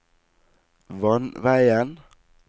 vannveien